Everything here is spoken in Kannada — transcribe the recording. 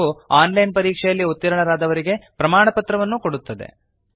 ಹಾಗೂ ಆನ್ ಲೈನ್ ಪರೀಕ್ಷೆಯಲ್ಲಿ ಉತ್ತೀರ್ಣರಾದವರಿಗೆ ಪ್ರಮಾಣಪತ್ರವನ್ನು ಕೊಡುತ್ತದೆ